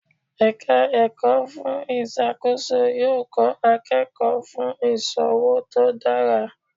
Ẹ̀ka ẹ̀kọ́ fún ìṣàkóso yóò kọ́ akẹ́kọ̀ọ́ fún ìṣòwò tó dára.